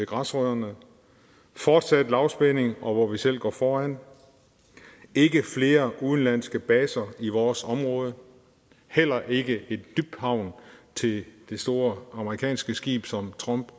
græsrødderne fortsat lavspænding hvor vi selv går foran ikke flere udenlandske baser i vores område heller ikke en dybhavn til det store amerikanske skib som trump